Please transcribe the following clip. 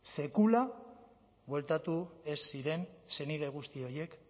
sekula bueltatu ez ziren senide guzti horiek